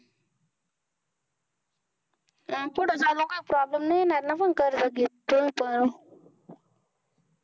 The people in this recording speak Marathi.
पुढे जाऊन काय problem नाही येणार ना? पण कर्ज घेतलं तर